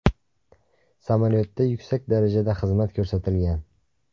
Samolyotda yuksak darajada xizmat ko‘rsatilgan.